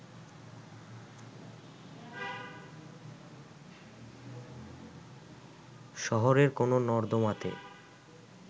শহরের কোনো নর্দমাতে